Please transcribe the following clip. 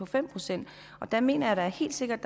fem procent jeg mener da helt sikkert